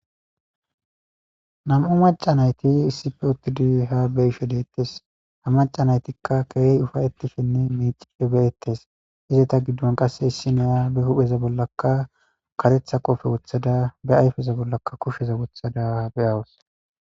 Nam7u maca nayti issife uttidi ha beisho deettes ha maca naytikka keehi ufayetifhenne miiciphe beyettes izeta giddon qasse issi noya be hupheza bollaka katetha qoofe wothada be ayfeza bollaka kusheza wothada beyawos.